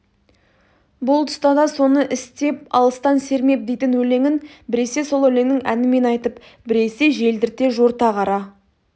бұл тұста да соны істеп алыстан сермеп дейтін өлеңін біресе сол өлеңнің әнімен айтып біресе желдірте жорта қара